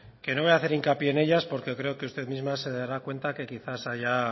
que no voy hacer hincapié en ellas porque creo que usted misma se dará cuenta que quizá se haya